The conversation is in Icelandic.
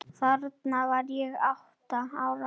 Þarna var ég átta ára.